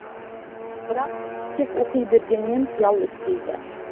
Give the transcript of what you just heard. бірақ тек оқи бергенмен қиял өспейді